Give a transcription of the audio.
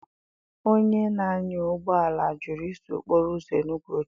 Onye na-anya ụgbọ ala jụrụ iso okporo uzo Enugwu ochie.